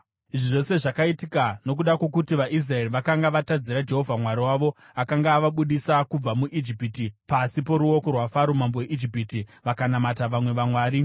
Izvi zvose zvakaitika nokuda kwokuti vaIsraeri vakanga vatadzira Jehovha Mwari wavo, akanga avabudisa kubva muIjipiti pasi poruoko rwaFaro mambo weIjipiti. Vakanamata vamwe vamwari